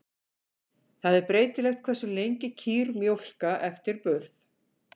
Það er breytilegt hversu lengi kýr mjólka eftir burð.